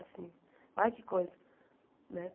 Assim olha que coisa né.